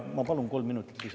Ma palun kolm minutit lisaaega.